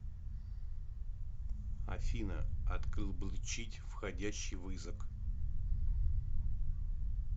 афина отклбчить входящий вызок